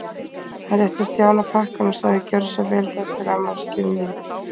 Hann rétti Stjána pakkann og sagði: Gjörðu svo vel, þetta er afmælisgjöfin þín.